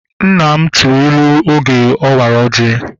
Nna m tụrụ ilu oge ọ wara ọjị